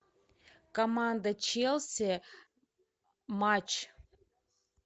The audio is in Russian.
команда челси матч